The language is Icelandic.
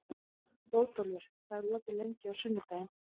Bótólfur, hvað er opið lengi á sunnudaginn?